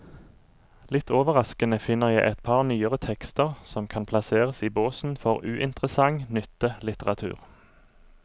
Litt overraskende finner jeg et par nyere tekster som kan plasseres i båsen for uinteressant nyttelitteratur.